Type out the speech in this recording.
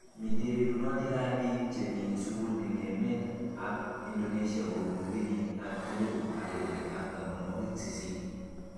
Mitei rerunoik ab bik chemi sukul eng emet ab Indonesia kobun kenyit ab elipu agenge ak tamanwakik sisit.